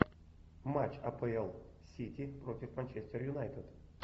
матч апл сити против манчестер юнайтед